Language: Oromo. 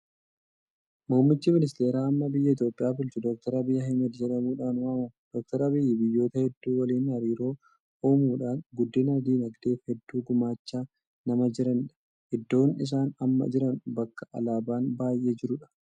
Muummichi ministeera ammaa biyya Itoophiyaa bulchu, Dookter Abiyyi Ahmeed jedhamuudhaan waamamu. Dr. Abiyyi biyyoota hedduu waliin hariiroo uumuudhaan guddina dinagdeef hedduu gumaachaa nama jiranidha. Iddoon isaan amma jiran bakka Alaabaan baay'ee jirudha.